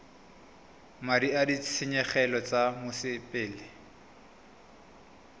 madi a ditshenyegelo tsa mosepele